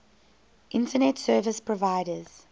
internet service providers